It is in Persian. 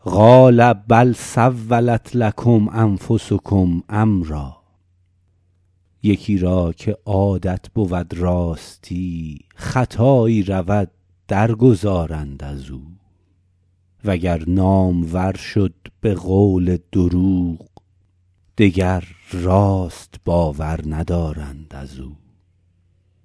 قال بل سولت لکم انفسکم امرا یکی را که عادت بود راستی خطایی رود در گذارند از او و گر نامور شد به قول دروغ دگر راست باور ندارند از او